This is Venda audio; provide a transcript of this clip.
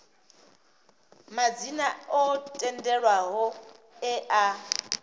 madzina o tendelwaho e a